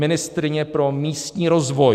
Ministryně pro místní rozvoj.